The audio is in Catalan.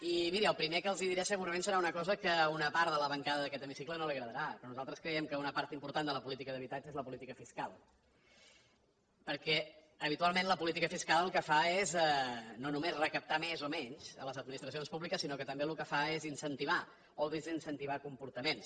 i miri el primer que els diré segurament serà una cosa que a una part de la bancada d’aquest hemicicle no li agradarà però nosaltres creiem que una part important de la política d’habitatge és la política fiscal perquè habitualment la política fiscal el que fa és no només recaptar més o menys a les administracions públiques sinó que també el que fa és incentivar o desincentivar comportaments